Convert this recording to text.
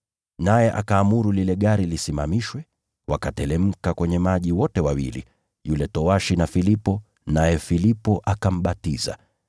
Naye akaamuru lile gari lisimamishwe. Wakateremka kwenye maji wote wawili, yule towashi na Filipo, naye Filipo akambatiza.